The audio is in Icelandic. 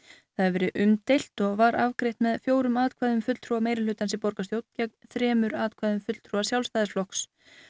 það hefur verið umdeilt og var afgreitt með fjórum atkvæðum fulltrúa meirihlutans í borgarstjórn gegn þremur atkvæðum fulltrúa Sjálfstæðisflokks